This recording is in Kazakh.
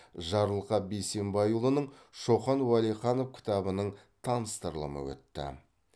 жарылқап бейсенбайұлының шоқан уәлиханов кітабының таныстырылымы өтті